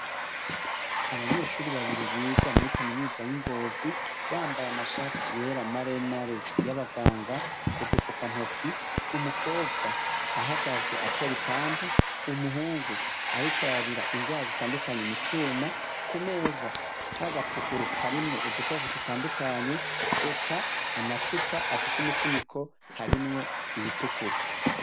Abanyeshure babiri biga muri kaminuza y'i Ngozi, bambaye amashati yera maremare y'abanganga, udufuka ntoki, umukobwa ahagaze atora ipampa, umuhungu ariko arabira ingwara zitandukanye mu cuma, ku meza hari agapuguru karimwo udukoresho dutandukanye, eka amacupa afise imifuniko harimwo iyitukura.